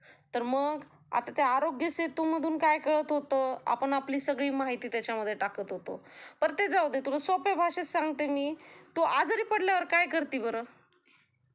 तर मग आता त्या आरोग्य सेतूमधून काय कळत होत, आपण आपली सगळी माहिती त्याचामध्ये टाकत होतो, बर ते जाउदे तुला सोप्या भाषेत सांगते मी, तु आजारी पडल्यावर काय करती बर?